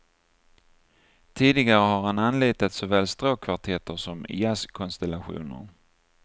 Tidigare har han anlitat såväl stråkkvartetter som jazzkonstellationer.